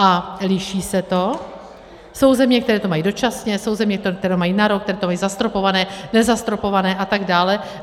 A liší se to, jsou země, které to mají dočasně, jsou země, které to mají na rok, které to mají zastropované, nezastropované a tak dále.